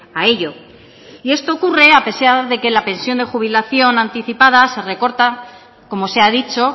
a ello y esto ocurre a pesar de que la pensión de jubilación anticipada se recorta como se ha dicho